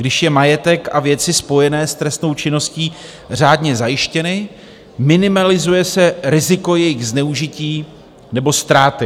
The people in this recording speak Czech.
Když jsou majetek a věci spojené s trestnou činností řádně zajištěny, minimalizuje se riziko jejich zneužití nebo ztráty.